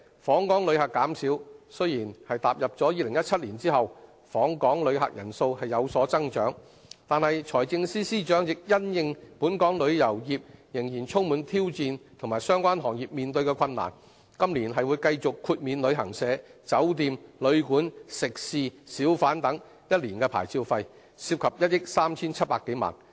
訪港旅客的減少，雖然踏入2017年後，訪港旅客人數有所增長，但財政司司長亦因應本港旅遊業仍然充滿挑戰，以及相關行業所面對的困難，今年會繼續豁免旅行社、酒店、旅館、食肆、小販等1年牌照費，涉及1億 3,700 多萬元。